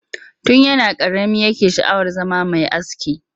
Tun yana ƙarami yake sha'awar zama mai aski